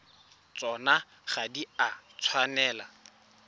tsona ga di a tshwanela